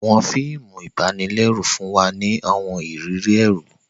Awọn fíìmù ibanilẹru fún wa ni awọn ìrírí ẹru.